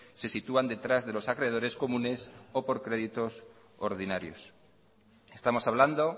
se sitúan detrás de los acreedores comunes o por créditos ordinarios estamos hablando